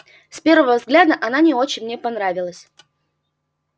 с первого взгляда она не очень мне понравилась